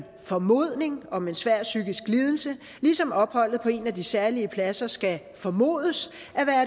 formodning om en svær psykisk lidelse ligesom opholdet på en af de særlige pladser skal formodes